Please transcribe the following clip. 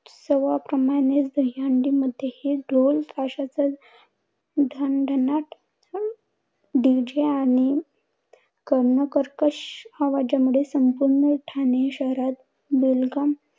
उत्सवाप्रमाणेच दहीहंडी मधेही ढोल ताशाचा ढणढणाट DJ आणि कर्णकर्कश आवाजामध्ये ठाणे शहरात बेलगाम धिंगाणा